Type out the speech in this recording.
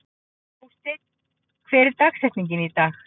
Jósteinn, hver er dagsetningin í dag?